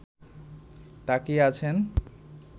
তাকিয়ে আছেন